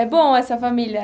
É bom essa família.